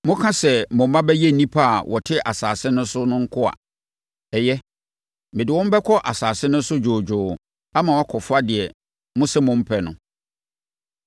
Moka sɛ mo mma bɛyɛ nnipa a wɔte asase no so no nkoa. Ɛyɛ, mede wɔn bɛkɔ asase no so dwoodwoo ama wɔakɔfa deɛ mose mompɛ no.